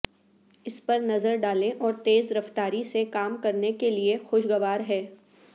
اس پر نظر ڈالیں اور تیز رفتاری سے کام کرنے کے لئے خوشگوار ہے